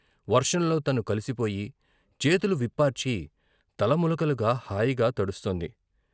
వర్షంలో తను కలిసిపోయి, చేతులు విప్పార్చి తల ములకలుగా హాయిగా తడుస్తోంది.